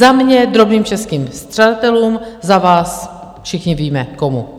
Za mě drobným českým střadatelům, za vás - všichni víme komu.